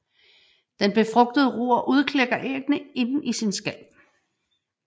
Den befrugtede rur udklækker æggene inde i sin skal